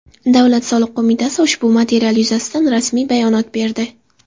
Davlat soliq qo‘mitasi ushbu material yuzasidan rasmiy bayonot berdi .